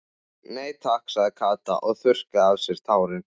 Nei takk sagði Kata og þurrkaði af sér tárin.